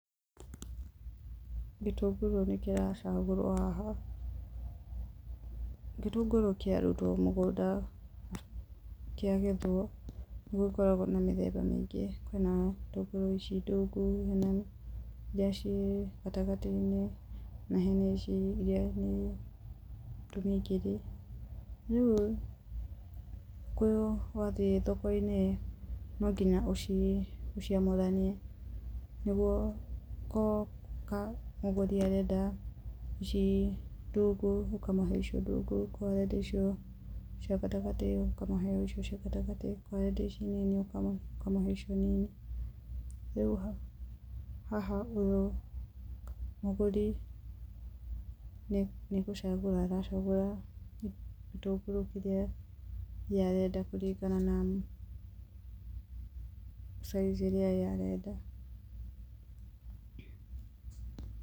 Gĩtũngũrũ nĩ kĩracagũrwo haha. Gĩtũngũrũ kĩarutwo mũgũnda, kĩagethwo nĩgũkoragwo na mĩthemba mĩingĩ, kwina ĩtũngũrũ ici ndungu nene, iria ciĩ gatagatĩ-inĩ nĩ harĩ iria nĩ tũmingiri. Rĩu wathiĩ thoko-inĩ rĩ nonginya ũciũnoranie nĩguo akorwo mũgũri arenda ici ndungu ũkamũhe icio ndungu, akorwo arenda icio cia gatagatĩ ũkamũhe icio cia gatagatĩ. Akorwo arenda icio nini ũkamũhe icio nini. Rĩu haha ũyũ mũgũri nĩgũcagũra aracagũra gĩtũngũrũ kĩrĩa we arenda kũringana na saizi ĩrĩa we arenda.